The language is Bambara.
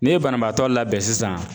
N'i ye banabaatɔ labɛn sisan